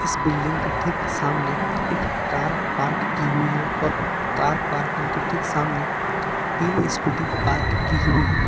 इस बिल्डिंग के ठीक सामने एक कार पार्क की हुई है और कार पार्किंग के ठीक सामने तीन स्कूटी पार्क की हुई है।